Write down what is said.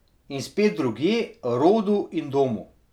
In spet drugje Rodu in domu.